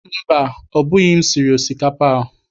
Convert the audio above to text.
Mba, ọ bụghị m siri osikapa a?